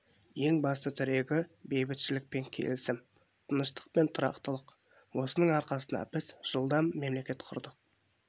ең басты тірегі бейбітшілік пен келісім тыныштық пен тұрақтылық осының арқасында біз жылда мемлекет құрдық